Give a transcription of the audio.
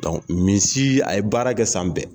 misi a ye baara kɛ san bɛɛ.